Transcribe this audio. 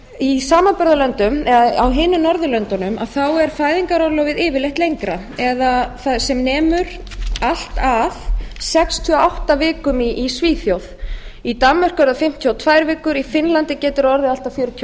í samanburðarlöndum eða á hinum norðurlöndunum er fæðingarorlofið yfirleitt lengra eða sem nemur allt að sextíu og átta vikum í svíþjóð í danmörku er það fimmtíu og tvær vikur í finnlandi getur það orðið allt að fjörutíu og